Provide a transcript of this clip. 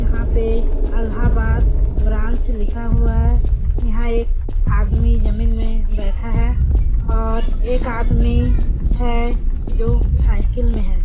यहाँ पे अलाहाबाद ब्रांच लिखा हुआ है यहाँ एक आदमी जमीन में बैठा है और एक आदमी है जो साइकिल में है।